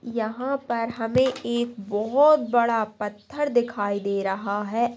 यह पर हमें एक बहुत बड़ा पत्थर दिखाई दे रहा है